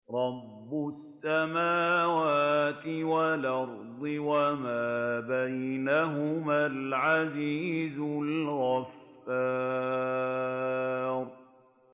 رَبُّ السَّمَاوَاتِ وَالْأَرْضِ وَمَا بَيْنَهُمَا الْعَزِيزُ الْغَفَّارُ